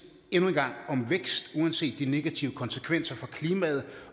om vækst uanset de negative konsekvenser for klimaet